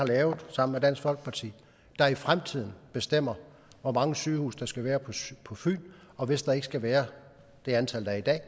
har lavet sammen med dansk folkeparti i fremtiden bestemmer hvor mange sygehuse der skal være på på fyn og hvis der ikke skal være det antal der er i dag